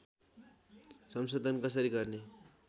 संशोधन कसरी गर्ने